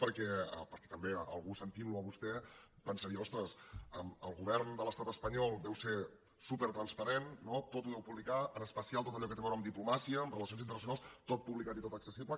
perquè també algú sentint lo a vostè pensaria ostres el govern de l’estat espanyol deu ser supertransparent tot ho deu publicar en especial tot allò que té a veure amb diplomàcia amb relacions internacionals tot publicat i tot accessible